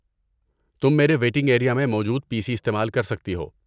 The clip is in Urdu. تم میرے ویٹنگ ایریا میں موجود پی سی استعمال کر سکتی ہو۔